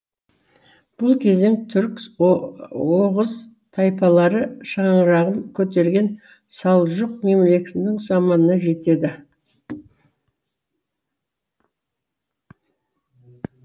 бұл кезең түркі оғыз тайпалары шаңырағын көтерген салжұқ мемлекетінің заманына жатады